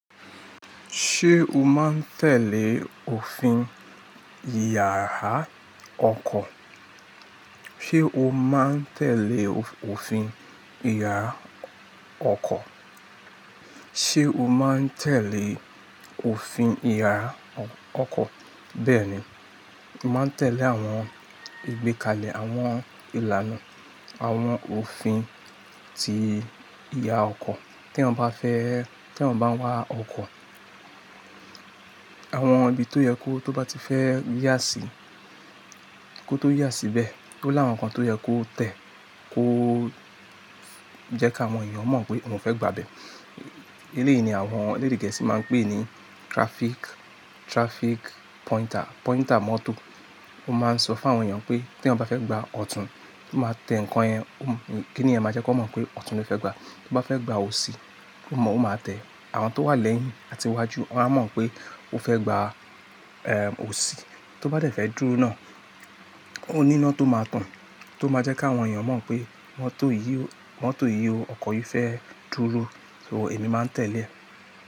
Ṣé o máa ń tẹ̀lé òfin ìyàrá ọkọ̀? Ṣé o máa ń tẹ̀lé òfin ìyàrá oko ọkọ̀? Ṣé o máa ń tẹ̀lé òfin ìyàrá ọkọ̀? Bẹ́ẹ̀ni, mo màá ń tẹ̀lé àwọn ìgbékalẹ̀ àwọn ìlànà àwọn òfin ti ìyàra ọkọ̀. Tí eeyan bá fẹ́, tí eeyan bá ń wa ọkọ̀, àwọn ibi tó yẹ kó tó bá ti fẹ́ yà sí, kó tó yà síbẹ̀, ó láwọn ǹnkan tó yẹ kó tẹ̀, kó jẹ́ káwọn èèyàn mọ̀ pé òun fẹ́ gbà bẹ́ẹ̀. Eléyìí ni àwọn elédé gẹ̀ẹ́sì máa ń pè ní traffic, traffic pointer, pointer mọ́tò. Ó máa ń sọ fún àwọn èèyàn pé tí eeyan bá fẹ́ gba ọ̀tún, ó máa tẹ ǹnkan yẹn, kíni yen máa jẹ́ kan mọ̀ pé ọ̀tún ló fẹ́ gba. Tó bá fẹ́ gba òsì, ó mọ̀ ó máa tẹ, àwọn tó wà lẹ́yìn àti iwájú won á mọ̀ pé ó fẹ́ gba, òsì. Tó bá dẹ̀ fẹ́ dúró náà, òni íná tó máa tàn, tó máa jẹ́ káwọn èèyàn mọ̀ pé mọ́tò yìí o, mọ́tò yìí o, ọkọ̀ yìí fẹ́ dúró, so èmi máa ń tẹ̀lé.